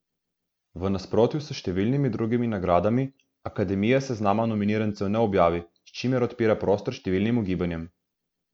V nasprotju s številnimi drugimi nagradami, akademija seznama nominirancev ne objavi, s čimer odpira prostor številnim ugibanjem.